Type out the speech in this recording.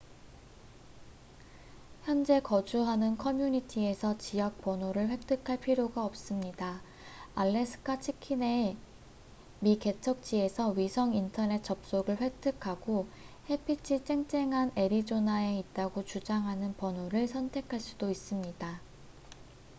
현재 거주하는 커뮤니티에서 지역 번호를 획득할 필요가 없습니다 알래스카 치킨의 미개척지에서 위성 인터넷 접속을 획득하고 햇빛이 쨍쨍한 애리조나에 있다고 주장하는 번호를 선택할 수도 있습니다